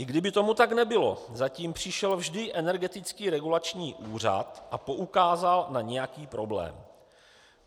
I kdyby tomu tak nebylo, zatím přišel vždy Energetický regulační úřad a poukázal na nějaký problém.